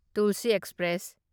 tulsi express